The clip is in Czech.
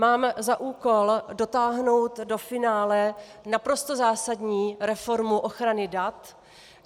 Mám za úkol dotáhnout do finále naprosto zásadní reformu ochrany dat.